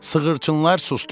Sığırçınlar susdular.